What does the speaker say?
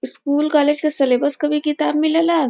School college क syllabus क भी किताब मिलेला।